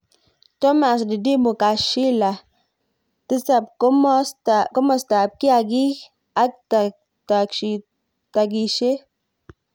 Thomas Didimu Kashililah. 7 Komostap. kiakik ak Takishet